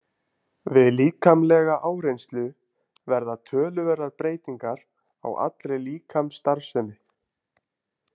Við líkamlega áreynslu verða töluverðar breytingar á allri líkamsstarfsemi.